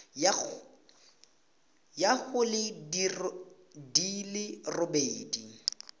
ya go di le robedi